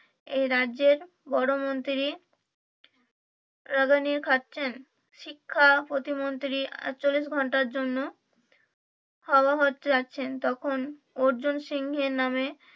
এই রাজ্যের বড়ো মন্ত্রী রাগানি খাচ্ছেন শিক্ষা প্রতিমন্ত্রী আটচল্লিশ ঘন্টার জন্য হাওয়া হতে যাচ্ছেন তখন অর্জুন সিংঘের নামে